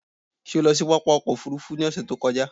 Ṣé o lọ sí pápá ọkò òfurufú ni ọ̀sè tí ó kọjá?